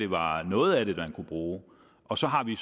var noget af det man kunne bruge og så har vi